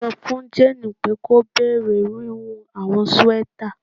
Sọ fun Jane pe ki o bẹrẹ wiwun awọn sweaters